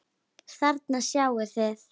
Þarna sjáið þið.